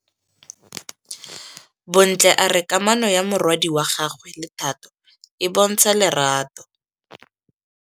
Bontle a re kamanô ya morwadi wa gagwe le Thato e bontsha lerato.